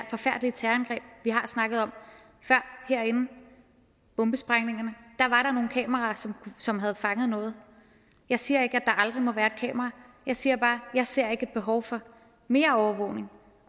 forfærdelige terrorangreb vi har snakket om før herinde bombesprængninger der var der nogle kameraer som som havde fanget noget jeg siger ikke at der aldrig må være et kamera jeg siger bare at jeg ikke ser et behov for mere overvågning